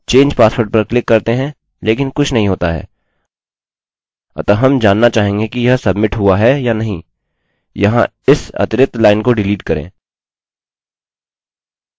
change password पर click करते हैं लेकिन कुछ नहीं होता है अतः हम जानना चाहेंगे कि यह सब्मिट हुआ है या नहीं यहाँ इस अतिरिक्त लाइन को डिलीट करें